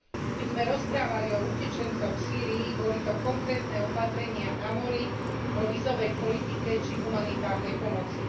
Keď sme rozprávali o utečencoch v Sýrii boli to konkrétne opatrenia na mori, vo vízovej politike či humanitárnej pomoci.